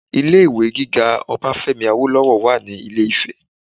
Ilé ìwé gíga Obafemi Awolowo wà ní ilé ifẹ